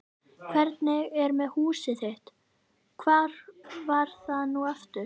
Hvernig er með húsið þitt- hvar var það nú aftur?